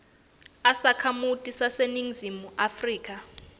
usakhamuti saseningizimu afrika